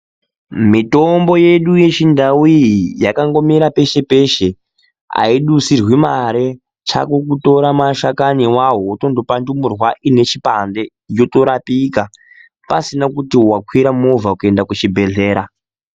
Mitombo yedu yechindau iyi, yakangomira peshepeshe ayidusirwi mari, chako kutora mashakani wawo utonopa ndumurwa inechipande yotorapika pasina kuti wakwira mova kuenda kuchibhedhlera.